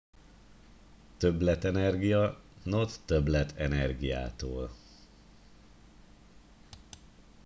"""többletenergia" not többlet energiától.